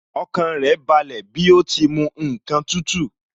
Ọkàn rẹ̀ balẹ̀ bí ó ti mu ǹkan tútù